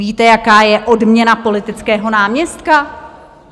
Víte, jaká je odměna politického náměstka?